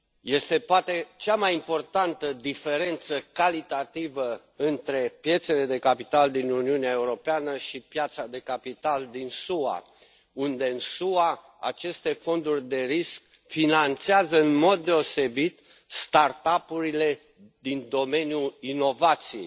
Este, poate, cea mai importantă diferență calitativă între piețele de capital din Uniunea Europeană și piața de capital din SUA, unde aceste fonduri de risc finanțează în mod deosebit urile din domeniul inovației.